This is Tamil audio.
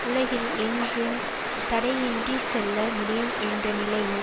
உலகில் எங்கும் தடையின்றிச் செல்ல முடியும் என்ற நிலையில்